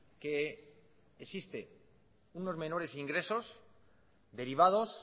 que existe unos menores ingresos derivados